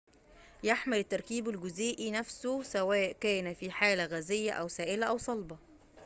يحمل التركيب الجزيئي نفسه سواء كان في حالة غازية أو سائلة أو صلبة